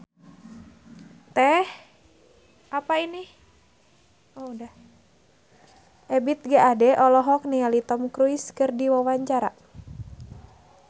Ebith G. Ade olohok ningali Tom Cruise keur diwawancara